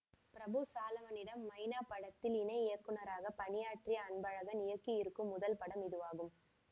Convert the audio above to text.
பிரபு சாலமனிடம் மைனா படத்தில் இணை இயக்குநராக பணியாற்றிய அன்பழகன் இயக்கியிருக்கும் முதல் படம் இதுவாகும்